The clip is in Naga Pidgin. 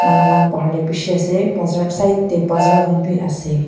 manu pahar tey bishi ase bazar side tey bazar khan b ase.